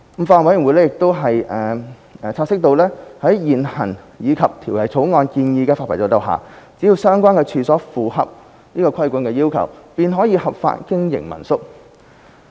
法案委員會亦察悉在現行及《條例草案》建議的發牌制度下，只要相關處所符合規管要求，便可合法經營民宿。